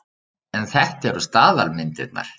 En þetta eru staðalmyndirnar.